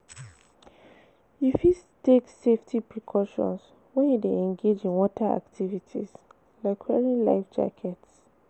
you fit take safety precauton when you dey engage in water activities, like wearing life jackets.